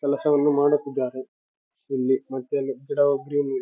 ಏವೂ labours ಯಲ್ಲ ಚತ್ತಾಕತ್ತಾರ.ಇದ್ Sunday ಅಂಕತೀನಿ. ವೊಳ್ಳೆ ಬಿಲ್ಡಿಂಗ್ --